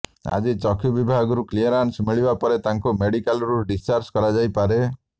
ଆଜି ଚକ୍ଷୁ ବିଭାଗରୁ କ୍ଲିୟରାନ୍ସ ମିଳିବା ପରେ ତାଙ୍କୁ ମେଡ଼ିକାଲରୁ ଡିସଚାର୍ଜ କରାଯାଇ ପାରେ